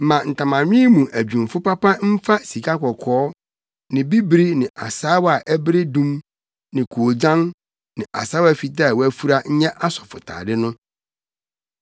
“Ma ntamanwen mu adwumfo papa mfa sikakɔkɔɔ ne bibiri ne asaawa a ɛbere dum ne koogyan ne asaawa fitaa a wɔafura nyɛ asɔfotade no.